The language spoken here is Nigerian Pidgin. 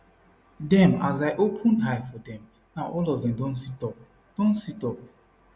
dem as i open eye for dem now all of dem don situp don situp